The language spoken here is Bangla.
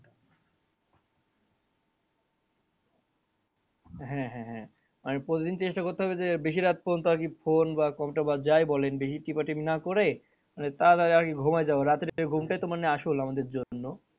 হ্যাঁ হ্যাঁ হ্যাঁ মানে প্রতিদিন চেষ্টা করতে হবে যে বেশি রাত পর্যন্ত আরকি phone বা computer বা যাই বলেন মানে বেশি টিপাটিপি না করে মানে তাড়াতাড়ি আগে ঘুমাই যাওয়া রাত্রের ঘুমটাই তো মানে আসল আমাদের জন্য।